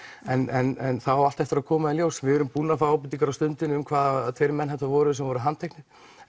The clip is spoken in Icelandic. en það á allt eftir að koma í ljós við erum búin að fá ábendingar á Stundinni um hvaða tveir menn þetta voru sem voru handteknir